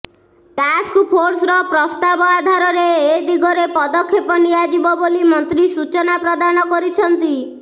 ଟାସ୍କଫୋର୍ସର ପ୍ରସ୍ତାବ ଆଧାରରେ ଏଦିଗରେ ପଦକ୍ଷେପ ନିଆଯିବ ବୋଲି ମନ୍ତ୍ରୀ ସୂଚନା ପ୍ରଦାନ କରିଛନ୍ତି